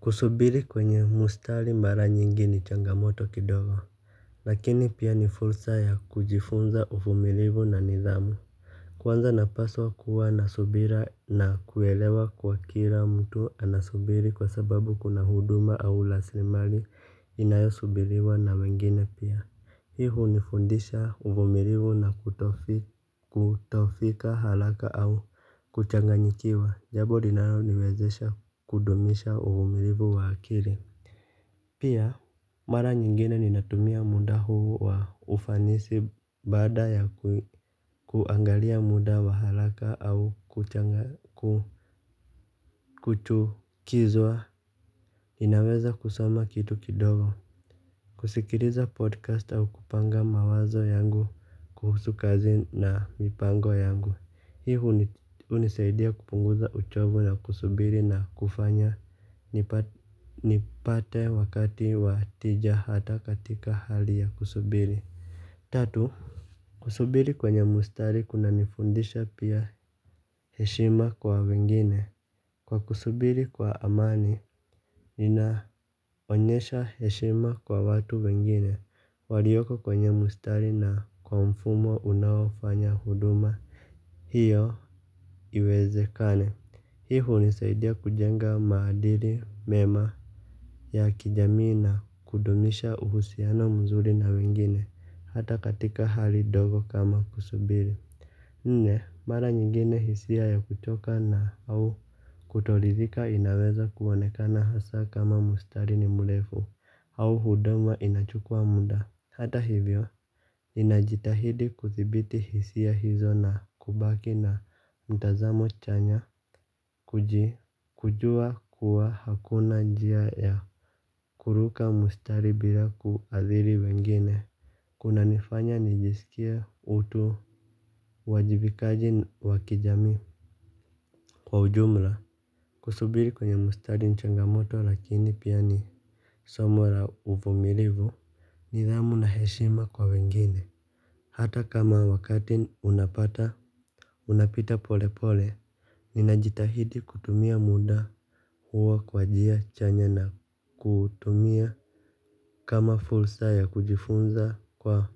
Kusubiri kwenye mustari mara nyingi ni changamoto kidogo. Lakini pia ni fursa ya kujifunza uvumilivu na nidhamu. Kwanza napaswa kuwa na subira na kuelewa kwa kila mtu anasubiri kwa sababu kuna huduma au raslimali inayo subiriwa na wengine pia. Hii hunifundisha uvumilivu na kutofika haraka au kuchanganyikiwa. Jambo linalo niwezesha kudumisha uvumilivu wa akili. Pia mara nyingine ninatumia muda huu wa ufanisi baada ya kuangalia muda wa haraka au kuchukizwa. Ninaweza kusoma kitu kidogo. Kusikiliza podcast au kupanga mawazo yangu kuhusu kazi na mipango yangu. Hii hunisaidia kupunguza uchovu na kusubiri na kufanya nipate wakati wa tija hata katika hali ya kusubiri. Tatu. Kusubiri kwenye mstari kuna nifundisha pia heshima kwa wengine. Kwa kusubiri kwa amani ninaonyesha heshima kwa watu wengine walioko kwenye mstari na kwa mfumo unaofanya huduma hiyo iwezekane. Hii hunisaidia kujenga maadili mema ya kijamii na kudumisha uhusiana mzuri na wengine hata katika hali ndogo kama kusubiri. Nne mara nyingine hisia ya kuchoka na au kutoridhika inaweza kuonekana hasa kama mustari ni mrefu au huduma inachukua muda. Hata hivyo inajitahidi kuthibiti hisia hizo na kubaki na mtazamo chanya kuji kujua kuwa hakuna njia ya kuruka mustari bila kuathiri wengine. Kuna nifanya nijisikie utu. Wajibikaji wa kijamii kwa ujumla. Kusubiri kwenye mustari ni changamoto lakini pia ni somo la uvumilivu nidhamu na heshima kwa wengine. Hata kama wakati unapata unapita pole pole ninajitahidi kutumia muda huwa kwa njia chanya na kutumia kama fursa ya kujifunza kwa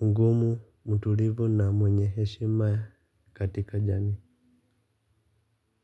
ugumu mtulivu na mwenye heshima katika jamii.